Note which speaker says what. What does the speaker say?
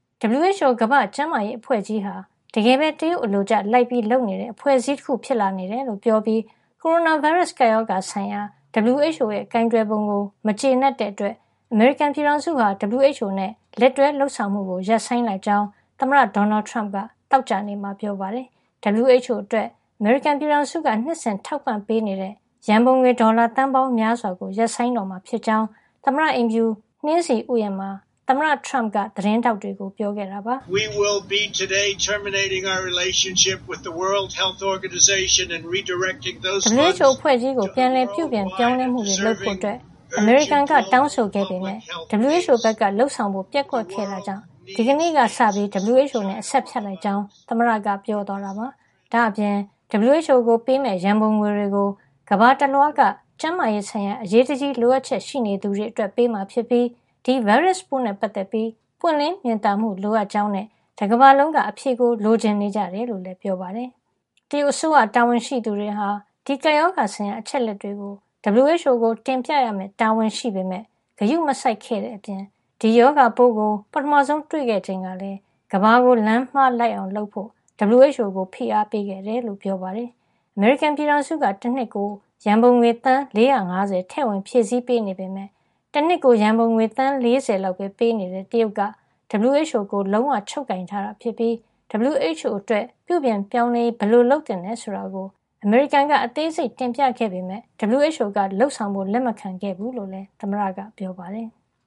Speaker 1: WHO ကမ္ဘာ့ကျန်းမာရေး အဖွဲ့ကြီးဟာ တကယ်ပဲ တရုတ်အလိုကျ လိုက်လုပ်နေတဲ့ အဖွဲ့အစည်း တခု ဖြစ်လာနေတယ်လို့ ပြောပြီး ကိုရိုနာဗိုင်းရပ်စ် ကပ်ရောဂါ ဆိုင်ရာ WHO ရဲ့ ကိုင်တွယ်ပုံကို မကျေနပ်တဲ့ အတွက် အမေရိကန်ပြည်ထောင်စုဟာ WHO အဖွဲ့နဲ့ လက်တွဲလုပ်ဆောင်မှုကို ရပ်ဆိုင်းလိုက်ကြောင်း သမ္မတ ဒေါ်နယ်ထရမ့်က သောကြာနေ့မှာ ပြောကြားလိုက်ပါတယ်။ WHO အတွက် အမေရိကန်ပြည်ထောင်စုက နှစ်စဉ် ထောက်ပံ့ပေးနေတဲ့ ရန်ပုံငွေ ဒေါ်လာ သန်းပေါင်းများစွာကို ရပ်ဆိုင်းတော့မှာ ဖြစ်ကြောင်း သမ္မတအိမ်ဖြူ နှင်းဆီဥယာဉ်မှာ သမ္မတ ထရမ့်က သတင်းထောက်တွေကို ပြောခဲ့တာပါ
Speaker 2: ။ "WHO အဖွဲ့
Speaker 1: ကြီးကို ပြန်လည်ပြုပြင် ပြောင်းလဲမှုတွေ လုပ်ဖို့ အမေရိကန်က တောင်းဆိုခဲ့ပေမယ့် WHO ဘက်က လုပ်ဆောင်ဖို့ ပျက်ကွက်ခဲ့တဲ့ အတွက် ဒီကနေ့ ကစပြီး WHO နဲ့ အဆက်ဖြတ်လိုက်ကြောင်း"သမ္မတက က ပြောသွားတာပါ။ ဒါ့အပြင် WHO ကို ပေးမယ့် ရန်ပုံငွေတွေကို ကမ္ဘာတလွှားက ကျန်းမာရေးဆိုင်ရာ အရေးတကြီး လိုအပ်ချက် ရှိနေသူတွေ အတွက် ပေးမှာ ဖြစ်ပြီး ဒီဗိုင်းရပ်စ်ပိုး နဲ့ ပတ်သက်ပြီး ပွင့်လင်းမြင်သာမှု လိုအပ်ကြောင်းနဲ့ တကမ္ဘာလုံးက အဖြေကို လိုချင်နေကြကြောင်း လည်း ပြောပါတယ်။ တရုတ်အစိုးရ တာဝန်ရှိသူတွေဟာ ဒီကပ်ရောဂါ ဆိုင်ရာ အချက်အလက်တွေကို WHO ကို တင်ပြရမယ့် တာဝန်ရှိပေမယ့် ဂရုမစိုက်ခဲ့တဲ့ အပြင် ဒီ ရောဂါပိုးကို ပထမဆုံး တွေ့ရှိခဲ့ချိန်ကလည်း ကမ္ဘာကို လမ်းမှားလိုက်အောင် လုပ်ဖို့ WHO ကို ဖိအားပေးခဲ့တယ်လို့ ပြောပါတယ်။ အမေရိကန်ပြည်ထောင်စုက တနှစ် ကို ရန်ပုံေွ သန်း ၄၅၀ ထည့်ဝင်ဖြည့်ဆည်း ပေးနေပေမယ့် တနှစ်ကို ရန်ပုံငွေ သန်း ၄၀ လောက်ပဲ ပေးနေတဲ့ တရုတ်က WHO ကို လုံးဝချုပ်ကိုင်ထား တာ ဖြစ်ပြီး WHO အတွက် ပြုပြင်ပြောင်းလဲရေး ဘယ်လိုလုပ်သင့်တယ် ဆိုတာကို အမေရိကန်က အသေးစိတ်တင်ပြခဲ့ ပေးမယ့် WHO က လုပ်ဆောင်ဖို့ လက်မခံခဲ့ဘူးလို့လည်း သမ္မတက ပြောပါတယ်။